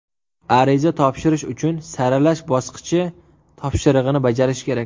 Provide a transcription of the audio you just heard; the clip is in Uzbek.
Ariza topshirish uchun saralash bosqichi topshirig‘ini bajarish kerak.